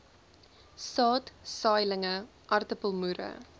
saad saailinge aartappelmoere